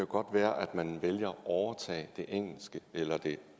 godt være at man vælger at overtage det engelske eller det